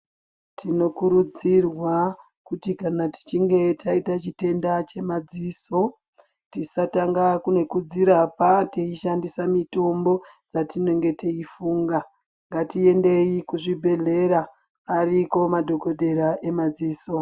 Tinokurudzirwa kuti kana tichinge taita chitenda chemadziso tisatanga uye kudzirapnatichoshandisa mutombo yatinenge teifunga ngatiendei kuzvibhedhlera ariko madhokodhera emadziso.